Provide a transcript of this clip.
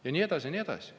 Ja nii edasi ja nii edasi.